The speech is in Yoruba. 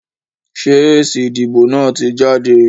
Sé èsì ìdìbò náà ti jáde?